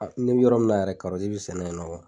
A n'i bi yɔrɔ min na yɛrɛ kɔrɔti be sɛnɛ yen nɔ